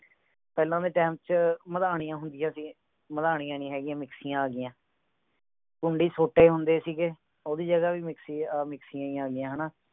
ਪਹਲਾ ਦੇ time ਚ ਮਧਾਣੀਆਂ ਹੁੰਦੀਆਂ ਸੀ ਮਧਾਣੀਆਂ ਨਹੀਂ ਹੋ ਗਿਆ mixer ਆ ਗਿਆ ਕੁੰਡੀ ਸੋਤੇ ਹੁੰਦੇ ਸੀਗੇ ਊਦੀ ਜਗਾ ਵੀ mixer ਆ mixer ਹੀ ਆ ਗਿਆ ਹੈਨਾ